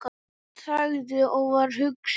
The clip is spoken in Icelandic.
Hún þagði og var hugsi.